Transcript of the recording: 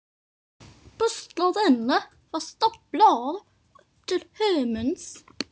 Búslóðinni var staflað upp til himins.